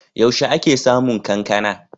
Yaushe ake samun kankana?